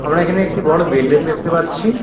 আমরা এখানে একটি বড় বিল্ডিং দেখতে পাচ্ছি।